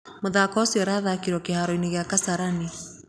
mũthaako ũcio urathakĩirwo kĩhaaro gĩa Kasarani